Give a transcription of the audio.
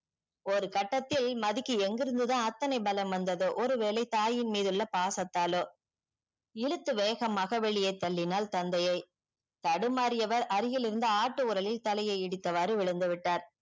ஒரு கட்டத்தில் மதிக்கு எங்கிருந்தான் அத்தனை பலம் வந்ததோ ஒரு வேலை தாயின் மிது உள்ள பாசத்தால இழுத்து வேகமாக வெளிய தள்ளின்னால் தந்தையே தடுமாறியவர் அருகில் இருந்த ஆட்டு ஓரளில் தலையே இடித்தவாறு விழுந்து விட்டால்